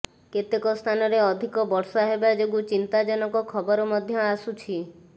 କେତେକ ସ୍ଥାନରେ ଅଧିକ ବର୍ଷା ହେବାଯୋଗୁଁ ଚିନ୍ତାଜନକ ଖବର ମଧ୍ୟ ଆସୁଛି